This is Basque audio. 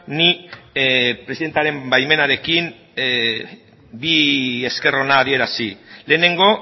nik presidentaren baimenarekin bi esker ona adierazi lehenengo